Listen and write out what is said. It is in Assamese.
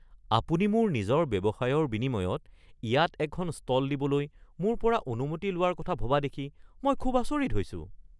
আপুনি মোৰ নিজৰ ব্যৱসায়ৰ বিনিময়ত ইয়াত এখন ষ্টল দিবলৈ মোৰ পৰা অনুমতি লোৱাৰ কথা ভবা দেখি মই খুব আচৰিত হৈছোঁ। (দোকানী)